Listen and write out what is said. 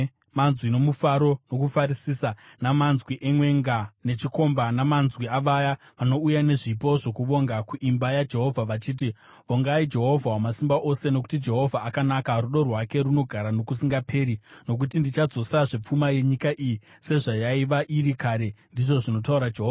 manzwi nomufaro nokufarisisa, namanzwi emwenga nechikomba, namanzwi avaya vanouya nezvipo zvokuvonga kuimba yaJehovha, vachiti, “‘ “Vongai Jehovha Wamasimba Ose, nokuti Jehovha akanaka; rudo rwake runogara nokusingaperi.” Nokuti ndichadzosazve pfuma yenyika iyi sezvayaiva iri kare,’ ndizvo zvinotaura Jehovha.